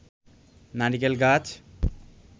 নারিকেল গাছ